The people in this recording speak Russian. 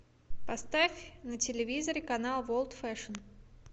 поставь на телевизоре канал ворлд фэшн